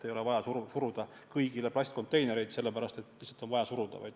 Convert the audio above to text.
Ei ole vaja suruda kõigile plastkonteinereid.